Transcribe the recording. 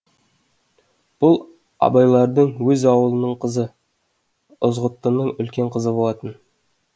бұл абайлардың өз аулының қызы ызғұттының үлкен қызы болатын